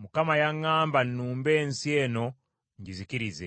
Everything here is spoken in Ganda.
Mukama yaŋŋamba nnumbe ensi eno ngizikirize.’ ”